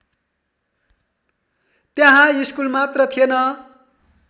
त्यहाँ स्कुल मात्र थिएन